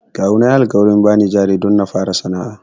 Kawuna yayi alƙawarin bani jari don na fara sana'a.